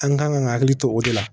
An kan ka hakili to o de la